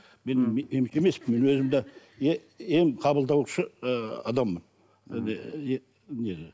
мен өзім де ем қабылдаушы ы адаммын не